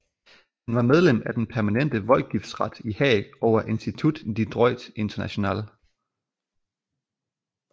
Han var medlem af den permanente voldgiftsret i Haag og af Institut de droit international